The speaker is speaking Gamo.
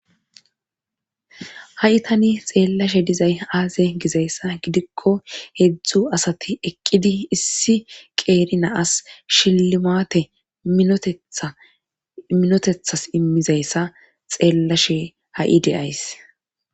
ha7itani xeellashe dizay aaze gizayssa gidikko hedzdzu asati eqqidi issi qeeri na as shillimaate tetminotethas immizayssa xeellashe ha7i deyays